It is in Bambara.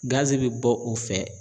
Gaze bɛ bɔ o fɛ.